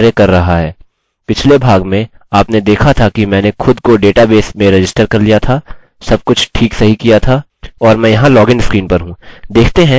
पिछले भाग में आपने देखा था कि मैंने खुद को डेटाबेस में रजिस्टर कर लिया था सब कुछ ठीक सही किया था और मैं यहाँ लॉगिन स्क्रीन पर हूँ